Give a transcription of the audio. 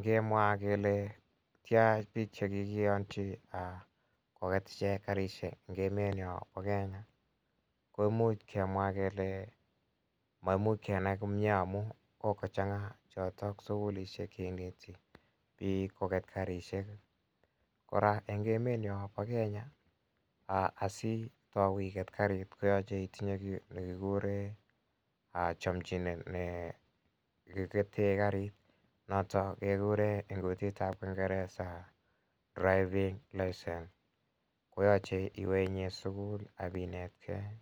Ngemwa kele tia piik che kikiyanchi koket ichek karishek eng' emenya pa Kenya ko imuch kemwa kele maimuch kenai komye amu kokochang'aa chotok sukukishek che ineti pik koket karishek. Kora eng' emet nyo pa Kenya ansitau iget karit koyache itinye ki ne kikure chamchinet ne kikete karit, not kekure eng' kutit ap kingeresa driving licence. Koyache iwe sukul ak ipinetgei.